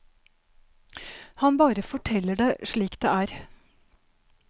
Han bare forteller det slik det er.